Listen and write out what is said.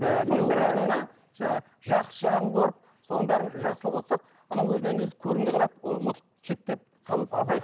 орнына жаңағы жақсы жағын көріп соның бәрін жасырып отырсақ анау өзінен өзі көрінбей қалады ол ұмытылып шеттеп қалып азайып